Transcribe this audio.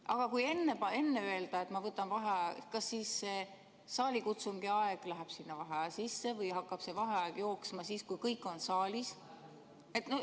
Aga kui enne öelda, et ma võtan vaheaja, kas siis see saalikutsungi aeg läheb sinna vaheaja sisse, või hakkab see vaheaeg jooksma siis, kui kõik on saalis?